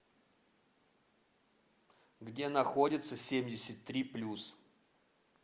где находится семьдесят три плюс